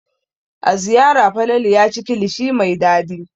A Zariya Falalu ya ci kilishi mai dadi.